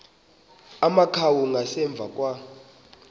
amakhawu ngasemva kwa